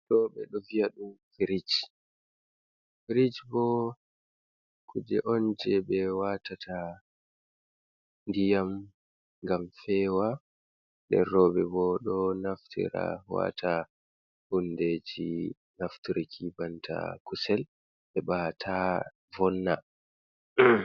Ɗo ɓe ɗo viya ɗum firij. Firij bo kuje on je ɓe waatata ndiyam ngam feewa. Nden rowɓe bo ɗo naftira waata hundeeji nafturki banta kusel heɓa taa vonna.